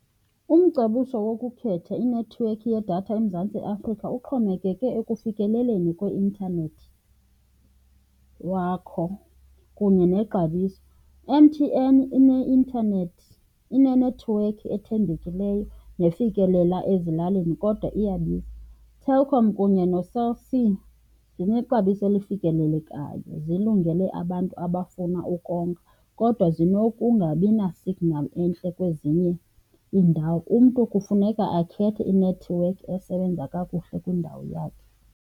Umcebiso wokukhetha inethiwekhi yedatha eMzantsi Afrika uxhomekeke ekufikeleleni kwe-intanethi wakho kunye nexabiso. I-M_T_N ineintanethi, inenethiwekhi ethembekileyo nefikelela ezilalini kodwa iyabiza. ITelkom kunye noCell C zinexabiso elifikelelekayo, zilungele abantu abafuna ukonga kodwa zinokungabina-signal entle kwezinye iindawo. Umntu kufuneka akhethe inethiwekhi esebenza kakuhle kwindawo yakhe.